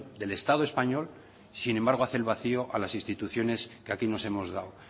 del estado español sin embargo hace el vacio a las instituciones que aquí nos hemos dado